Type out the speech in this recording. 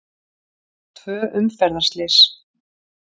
Tvö umferðarslys